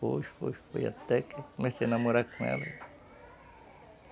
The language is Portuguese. Foi, foi, foi até que comecei a namorar com ela.